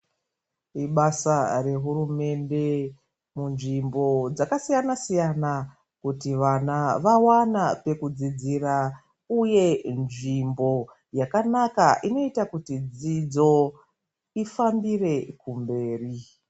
Ibasa rehurumende munzvimbo dzakasiyana siyana kuti vana vawana pekudzidzira. Uye nzvimbo yakanaka inoita kuti dzidzo ifambire kumberi.